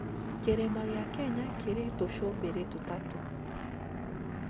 Kĩrĩma gĩa Kenya kĩrĩ tũcũmbĩrĩ tũtatu